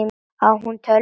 Á hún tölvu?